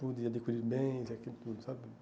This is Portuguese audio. Pude adquirir bens e aquilo tudo, sabe?